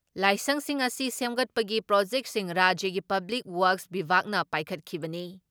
ꯂꯥꯏꯁꯪꯁꯤꯡ ꯑꯁꯤ ꯁꯦꯝꯒꯠꯄꯒꯤ ꯄ꯭ꯔꯣꯖꯦꯛꯁꯤꯡ ꯔꯥꯖ꯭ꯌꯒꯤ ꯄꯕ꯭ꯂꯤꯛ ꯋꯥꯛꯁ ꯕꯤꯚꯥꯒꯅ ꯄꯥꯏꯈꯠꯈꯤꯕꯅꯤ ꯫